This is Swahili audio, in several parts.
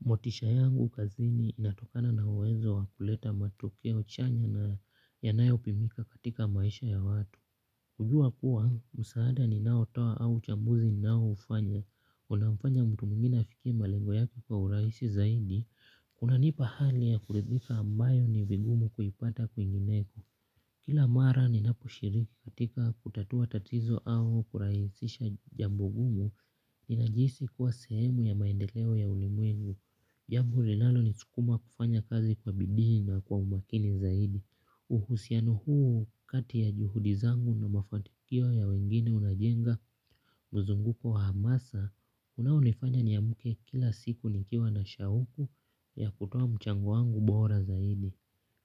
Motisha yangu kazini inatokana na uwezo wa kuleta matokeo chanya na yanayopimika katika maisha ya watu. Hujua kuwa, msaada ninaotoa au uchambuzi ninaufanya. Unamfanya mtu mwingine afikie malengo yake kwa urahisi zaidi. Kunanipa hali ya kuridhika ambayo ni vigumu kuipata kwingineko. Kila mara ninaposhiriki katika kutatua tatizo au kurahisisha jambo gumu, ninajihisi kuwa sehemu ya maendeleo ya ulimwengu. Jambo linalonisukuma kufanya kazi kwa bidii na kwa umakini zaidi. Uhusiano huu kati ya juhudi zangu na mafanikio ya wengine unajenga mzunguko wa hamasa unaonifanya niamke kila siku nikiwa na shauku ya kutoa mchango wangu bora zaidi.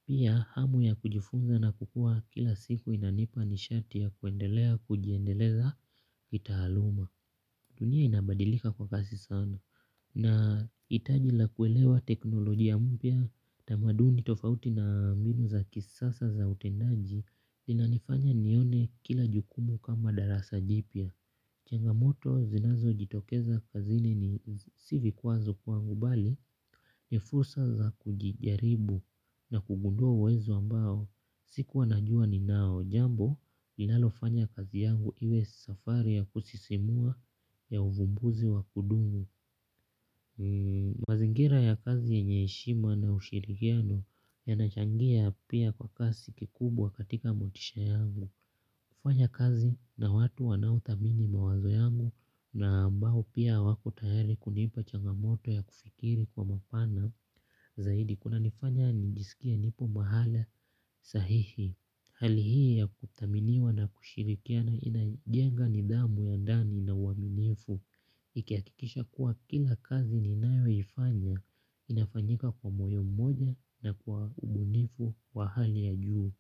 Pia hamu ya kujifunza na kukua kila siku inanipa nishati ya kuendelea kujiendeleza kitaaluma. Dunia inabadilika kwa kasi sana na hitaji la kuelewa teknolojia mpya tamaduni tofauti na mbinu za kisasa za utendaji zinanifanya nione kila jukumu kama darasa jipya. Changamoto zinazojitokeza kazini ni si vikwazo kwangu bali ni fursa za kujijaribu na kugundua uwezo ambao. Sikua najua ninao jambo linalofanya kazi yangu iwe safari ya kusisimua ya uvumbuzi wa kudumu. Mazingira ya kazi yenye heshima na ushirikiano yanachangia pia kwa kasi kikubwa katika motisha yangu. Kufanya kazi na watu wanaothamini mawazo yangu na ambao pia wako tayari kunipa changamoto ya kufikiri kwa mapana zaidi kunanifanya nijisikie nipo mahala sahihi. Hali hii ya kuthaminiwa na kushirikiana inajenga nidhamu ya ndani na uaminifu ikihakikisha kuwa kila kazi ninayoifanya inafanyika kwa moyo mmoja na kwa ubunifu wa hali ya juu.